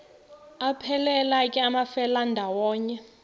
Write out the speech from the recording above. aphelela ke amafelandawonye